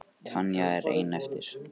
Tanya er ein eftir.